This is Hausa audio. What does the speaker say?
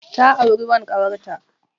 Ta auri wan ƙawarta.